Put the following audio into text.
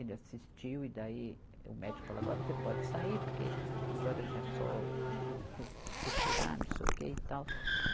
Ele assistiu e daí o médico falou, agora você pode sair porque agora já é só costurar, cos, costurar, não sei o quê e tal.